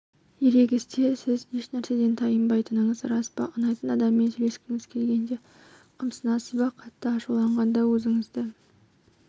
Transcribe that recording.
ерегісте сіз еш нәрседен тайынбайтыныңыз рас па ұнайтын адаммен сөйлескіңіз келгенде қымсынасыз ба қатты ашуланғанда өзіңізді